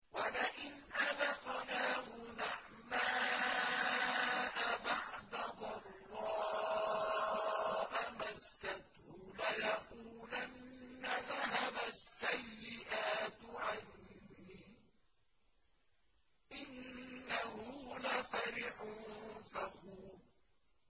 وَلَئِنْ أَذَقْنَاهُ نَعْمَاءَ بَعْدَ ضَرَّاءَ مَسَّتْهُ لَيَقُولَنَّ ذَهَبَ السَّيِّئَاتُ عَنِّي ۚ إِنَّهُ لَفَرِحٌ فَخُورٌ